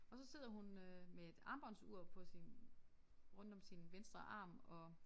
Og så sidder hun øh med et armbåndsur på sin rundt om sin venstre arm og